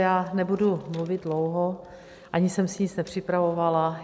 Já nebudu mluvit dlouho, ani jsem si nic nepřipravovala.